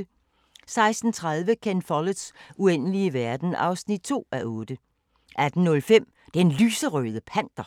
16:30: Ken Folletts Uendelige verden (2:8) 18:05: Den Lyserøde Panter